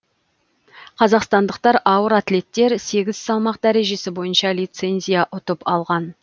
қазақстандық ауыр атлеттер сегіз салмақ дәрежесі бойынша лицензия ұтып алған